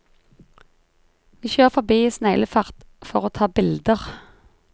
Vi kjører forbi i sneglefart for å ta bilder.